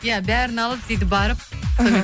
иә бәрін алып сөйтіп барып іхі